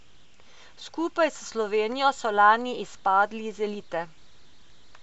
Skupaj s Slovenijo so lani izpadli iz elite.